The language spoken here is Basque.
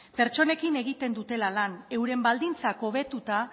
pertsonekin egiten dutela lan euren baldintzak hobetuta